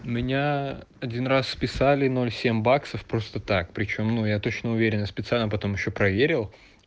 меня один раз списали ноль семь баксов просто так причём ну я точно уверен и специально потом ещё проверил